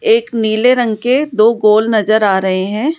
एक नीले रंग के दो गोल नजर आ रहे हैं।